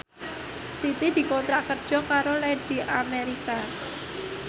Siti dikontrak kerja karo Lady America